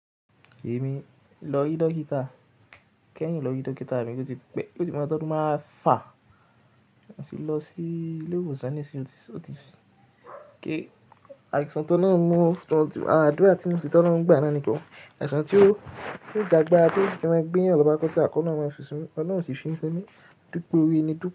Èmi lọ rí dókítà. Kẹ́hìn lọ rí dókítà èmi ló ti pẹ́, ló ti mọ to odun mefà, mo sì lọ sí ilé ìwòsàn nísìnyí. Ó ti, ó ti kí àìsàn tó náà mú, àdúrà tí mo sì tọ́na ń gbà náà nìkan. Àìsàn tí ó, tí kò dàgbà tí ó ṣe máa gbéyàn lọ bá kọ́ tí a kọ́ náà máa fi sùn mí, ọ̀na ò sì fi sùn sí ẹ́mi. Dúpẹ́ òru èni dúpẹ́